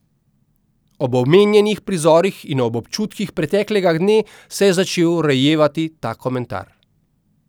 Ob omenjenih prizorih in ob občutkih preteklega dne se je začel rojevati ta komentar.